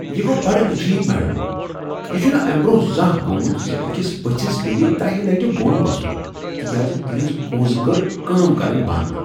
یہ گوٚو بڈٕ عجیب، میڈم؟ یہ چھنہٕ امہ برٛونٛہہ زانٛہہ گوٚمُت زِ أکس پٔژھس پیٚیہ دہہِ لٹہ بۄن وسن تکیاز تہنٛز کونٛزِ کٔر کٲم کرٕنۍ بنٛد۔